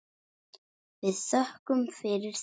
Við þökkum fyrir það.